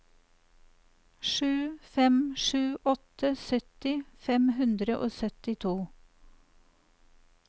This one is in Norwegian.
sju fem sju åtte sytti fem hundre og syttito